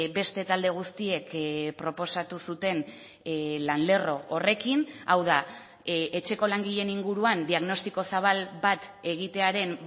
beste talde guztiek proposatu zuten lan lerro horrekin hau da etxeko langileen inguruan diagnostiko zabal bat egitearen